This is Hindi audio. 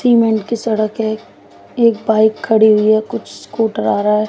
सीमेंट की सड़क है एक बाइक खड़ी हुई है कुछ स्कूटर आ रहा है।